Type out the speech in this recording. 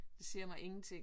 Det siger mig ingenting